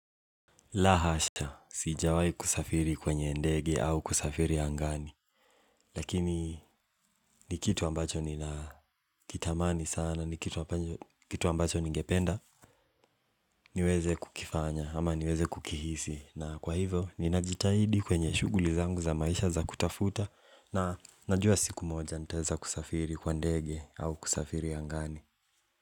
La hasha, siijawai kusafiri kwenye ndege au kusafiri angani. Lakini ni kitu ambacho ninakitamani sana, ni kitu ambacho ningependa niweze kukifanya ama niweze kukihisi. Na kwa hivyo, ninajitahidi kwenye shughuli zangu za maisha za kutafuta. Na najua siku moja nitaweza kusafiri kwa ndege au kusafiri angani.